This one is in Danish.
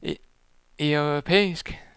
europæisk